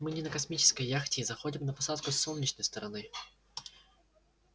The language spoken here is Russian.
мы не на космической яхте и заходим на посадку с солнечной стороны